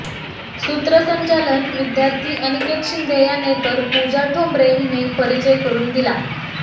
सूत्रसंचालन विद्यार्थी अनिकेत शिंदे यांने तर पुजा ठोंबरे हिने परिचय करुन दिला